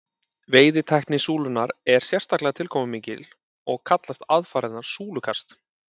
veiðitækni súlunnar er sérstaklega tilkomumikil og kallast aðfarirnar súlukast